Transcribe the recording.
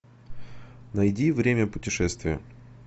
найди время путешествия